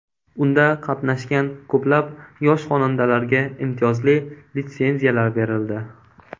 Unda qatnashgan ko‘plab yosh xonandalarga imtiyozli litsenziyalar berildi.